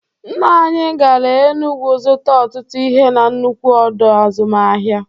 Nna anyị gara Enugwu zụta ọtụtụ ihe na-nnukwu ọdọ azụmahịa.